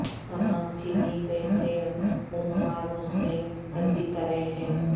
تمام چینی بسیں عموما روس میں تصدیق کر رہے ہیں